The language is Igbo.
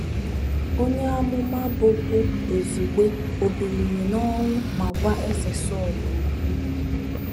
Onye amụma bụ́ bụ́ Buzugbe ò biliri n'ọnwụ ma gwa Eze Sọl okwu?